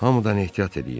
Hamıdan ehtiyat eləyin.